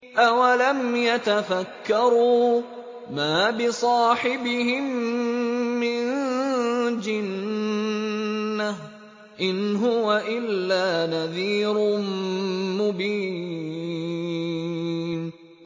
أَوَلَمْ يَتَفَكَّرُوا ۗ مَا بِصَاحِبِهِم مِّن جِنَّةٍ ۚ إِنْ هُوَ إِلَّا نَذِيرٌ مُّبِينٌ